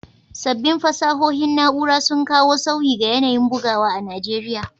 Sabbin fasahohin na’ura sun kawo sauyi ga yanayin bugawa a Najeriya.